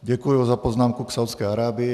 Děkuji za poznámku k Saúdské Arábii.